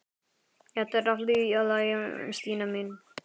Þetta er allt í lagi, Stína mín.